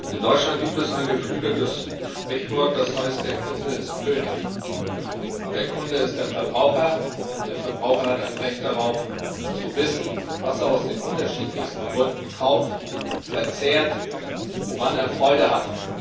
In Deutschland gibt es ein geflügeltes Sprichwort, das heißt der Kunde ist König. Und der Kunde ist der Verbraucher, und der Verbraucher hat ein Recht darauf zu wissen, was er aus den unterschiedlichsten Gründen kauft, verzehrt, woran er Freude hat.